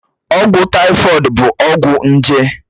Ọgwụ tàífọ̀d bụ ọgwụ nje